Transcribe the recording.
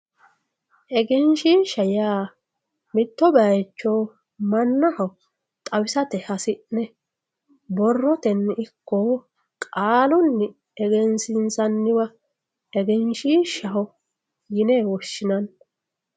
egenshiishsha yaa mitto bayiicho mannaho xawisate hasi'ne borrotenni ikko qaalunni egensiinsanniwa egenshiishshaho yine woshshinanni